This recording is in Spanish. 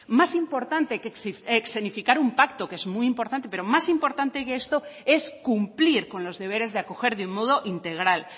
más importante que escenificar un pacto que es muy importante pero más importante que esto es cumplir con los deberes de acoger de un modo integral